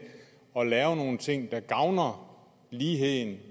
at lave nogle ting der gavner ligheden